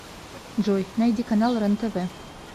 джой найди канал рен тв